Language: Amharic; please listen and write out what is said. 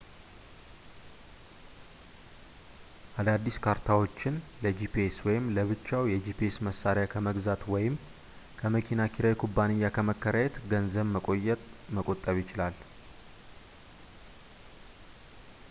አዳዲስ ካርታዎችን ለጂፒኤስ ወይም ለብቻው የጂፒኤስ መሣሪያ ከመግዛት ወይም ከመኪና ኪራይ ኩባንያ ከመከራየት ገንዘብ መቆጠብ ይችላል